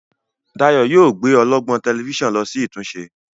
Dayo yíò gbé ọlọgbọn Tẹlifíṣàn ló sì ìtúnṣe.